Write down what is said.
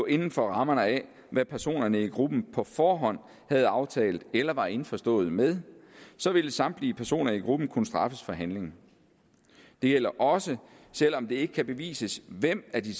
inden for rammerne af hvad personerne i gruppen på forhånd havde aftalt eller var indforstået med så vil samtlige personer i gruppen kunne straffes for handlingen det gælder også selv om det ikke kan bevises hvem af de